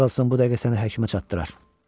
Karlson bu dəqiqə səni həkimə çatdırar.